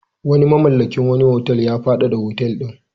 Wani mamallakin wani otal ya faɗaɗa otal ɗin.